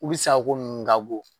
U bɛ sa ko